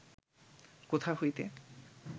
কোথা হইতে